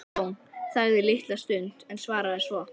Jón þagði litla stund en svaraði svo